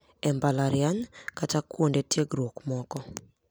E Mbalatriany kata kuonde tiegruok moko,